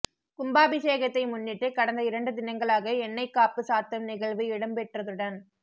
கும்பாபிஷேகத்தை முன்னிட்டு கடந்த இரண்டு தினங்களாக எண்ணெய்க்காப்பு சாத்தும் நிகழ்வு இடம்பெற்றதுடன்